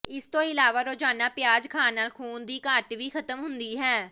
ਇਸ ਤੋਂ ਇਲਾਵਾ ਰੋਜ਼ਾਨਾ ਪਿਆਜ਼ ਖਾਣ ਨਾਲ ਖੂਨ ਦੀ ਘਾਟ ਵੀ ਖਤਮ ਹੁੰਦੀ ਹੈ